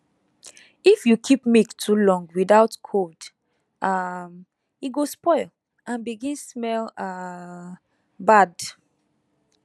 if you keep milk too long without cold um e go spoil and begin smell um bad